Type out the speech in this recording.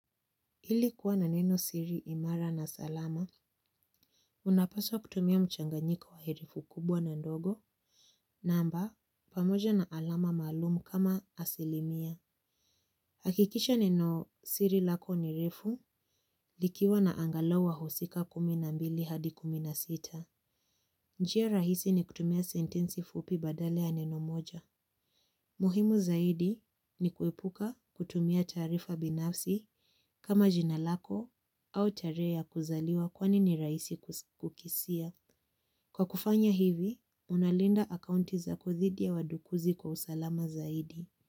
Ili kuwa na neno siri imara na salama, unapaswa kutumia mchanganyiko wa herufi kubwa na ndogo, namba pamoja na alama maalumu kama asilimia. Hakikisha neno siri lako ni refu likiwa na angalau wahusika kumi na mbili hadi kumi na sita njia rahisi ni kutumia sentensi fupi badala ya neno moja. Muhimu zaidi ni kuepuka kutumia tarifa binafsi kama jina lako au tarehe ya kuzaliwa kwani ni rahisi kukisia. Kwa kufanya hivi, unalinda akaunti zako dhidi ya wadukuzi kwa usalama zaidi.